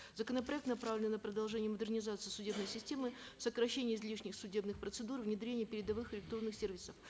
законопроект направлен на продолжение модернизации судебной системы сокращение излишних судебных процедур внедрение передовых электронных сервисов